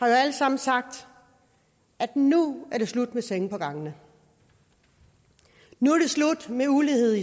alle sammen sagt nu er det slut med senge på gangene nu er det slut med ulighed